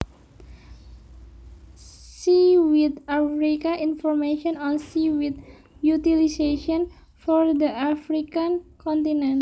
SeaweedAfrica information on seaweed utilisation for the African continent